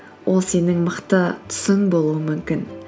ол сенің мықты тұсың болуы мүмкін